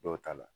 Dɔw ta la